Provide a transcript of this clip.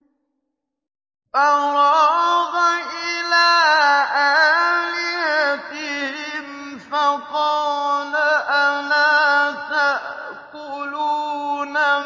فَرَاغَ إِلَىٰ آلِهَتِهِمْ فَقَالَ أَلَا تَأْكُلُونَ